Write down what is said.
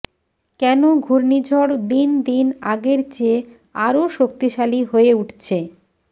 কেন ঘূর্ণিঝড় দিনদিন আগের চেয়ে আরও শক্তিশালী হয়ে উঠছে